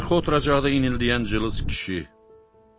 Arxa oturacaqda inildəyən cılız kişi.